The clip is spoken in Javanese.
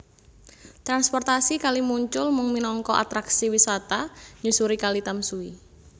Transportasi kali muncul mung minangka atraksi wisata nyusuri Kali Tamsui